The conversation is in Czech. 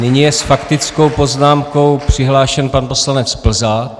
Nyní je s faktickou poznámkou přihlášen pan poslanec Plzák.